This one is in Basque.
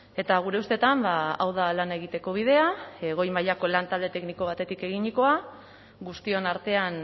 eta gure ustetan hau da lana egiteko bidea goi mailako lantalde tekniko batetik eginikoa guztion artean